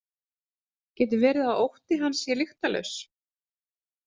Getur verið að ótti hans sé lyktarlaus?